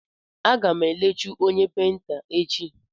Aga m elechu onye peinta echi.